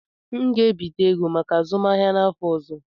M ga-ebite ego maka azụmahịa m n'afọ ọzọ.